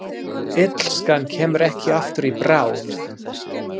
Illskan kemur ekki aftur í bráð.